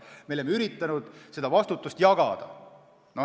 Me oleme üritanud vastutust jagada.